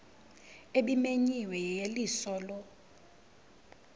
ebimenyiwe yeyeliso lo